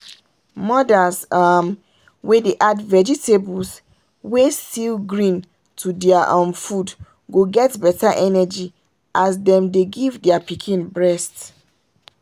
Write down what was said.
mothers um wey dey add vegetables wey still green to their um food go get better energy as them dey give their pikin breast.